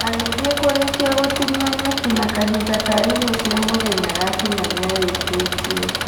Agĩthiĩ kũrĩkia gũtinia nyeki na kahinda ka irio cia mũthenya gakinya nĩarĩkĩtie.